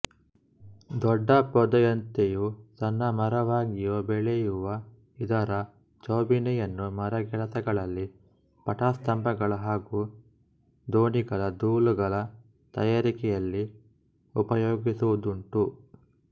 ದೊಡ್ಡ ಪೊದೆಯಂತೆಯೋ ಸಣ್ಣ ಮರವಾಗಿಯೋ ಬೆಳೆಯುವ ಇದರ ಚೌಬೀನೆಯನ್ನು ಮರಗೆಲಸಗಳಲ್ಲಿ ಪಟಸ್ತಂಭಗಳ ಹಾಗೂ ದೋಣಿಗಳ ದೂಲಗಳ ತಯಾರಿಕೆಯಲ್ಲಿ ಉಪಯೋಗಿಸುವುದುಂಟು